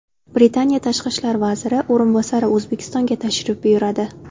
Britaniya tashqi ishlar vaziri o‘rinbosari O‘zbekistonga tashrif buyuradi.